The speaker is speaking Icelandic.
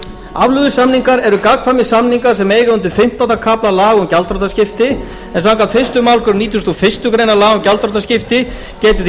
afleiðusamningar eru gagnkvæmir samningar sem eiga undir fimmtánda kafla laga um gjaldþrotaskipti en samkvæmt fyrstu málsgrein nítugasta og fyrstu grein laga um gjaldþrotaskipti getur því